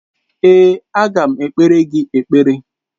Èé, aga m ekpere gị ekpere.